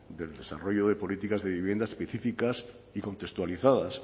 del desarrollo de políticas de vivienda específicas y contextualizadas